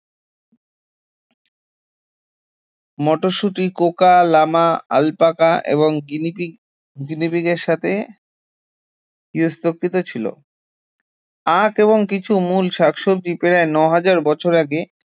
মটরশুঁটি coca, llama, alpaca এবং guinea pig গিনিপিগের সাথে গার্হস্থ্যকৃত ছিল আখ এবং কিছু মূল শাকসবজি প্রায় নয় হাজার বছর আগে